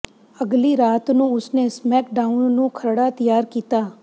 ਅਗਲੀ ਰਾਤ ਨੂੰ ਉਸ ਨੇ ਸਮੈਕਡਾਊਨ ਨੂੰ ਖਰੜਾ ਤਿਆਰ ਕੀਤਾ